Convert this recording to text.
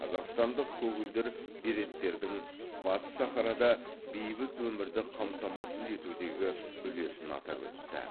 қазақстандық көгілдір береттердің батыс сахарада бейбіт өмірді қамтамасыз етудегі үлесін атап өтті